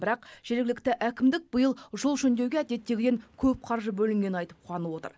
бірақ жергілікті әкімдік биыл жол жөндеуге әдеттегіден көп қаржы бөлінгенін айтып қуанып отыр